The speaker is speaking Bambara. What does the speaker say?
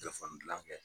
Telefɔni gilan kɛ